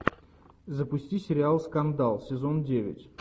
запусти сериал скандал сезон девять